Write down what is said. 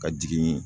Ka jigin